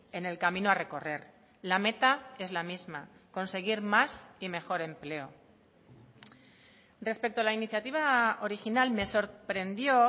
en el camino a recorrer la meta es la misma conseguir más y mejor empleo respecto a la iniciativa original me sorprendió